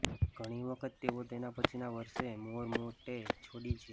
ઘણી વખત તેઓ તેના પછીના વર્ષે મોર માટે છોડી છે